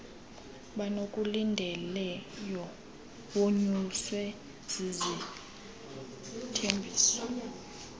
bakulindeleyo wonyuswe zizithembiso